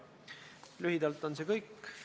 Minu andmetel on teid üks isik.